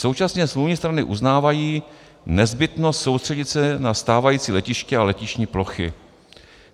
Současně smluvní strany uznávají nezbytnost soustředit se na stávající letiště a letištní plochy.